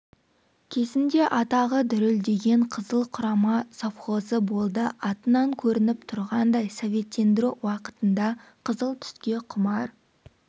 кезінде атағы дүрілдеген қызыл құрама совхозы болды атынан көрініп тұрғандай советтендіру уақытында қызыл түске құмар